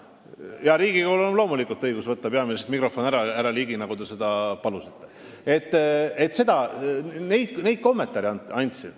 Jaa, Riigikogul on loomulikult õigus peaministrilt mikrofon ära võtta, härra Ligi, nagu te palusite.